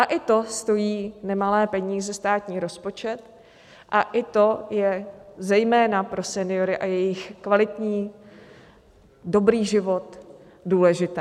A i to stojí nemalé peníze státní rozpočet a i to je zejména pro seniory a jejich kvalitní dobrý život důležité.